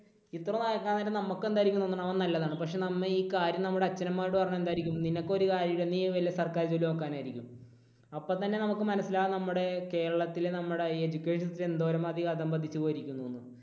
ഇത്ര പക്ഷെ നമുക്ക് എന്തായിരിക്കും തോന്നുന്നത്? അവൻ നല്ലതാണ്. പക്ഷേ നമ്മൾ ഈ കാര്യം നമ്മുടെ അച്ഛനമ്മമാരോട് പറഞ്ഞാൽ എന്തായിരിക്കും? നിനക്ക് ഒരു കാര്യവുമില്ല. നീ വല്ല സർക്കാർ ജോലിയും നോക്ക് എന്നായിരിക്കും. അപ്പോൾ തന്നെ നമുക്ക് മനസ്സിലാകും നമ്മുടെ കേരളത്തിലെ നമ്മുടെ education system എന്തോരം അധികം അധപതിച്ചു പോയിരിക്കുന്നു എന്ന്